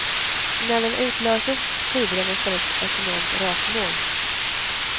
När den utlöses sprider den i stället ett enormt rökmoln.